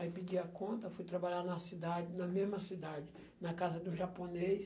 Aí pedi a conta, fui trabalhar na cidade, na mesma cidade, na casa de um japonês.